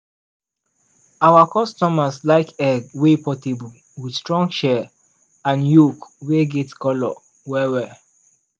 our customers like egg wey portable with strong shell and yolk wey get colour well well.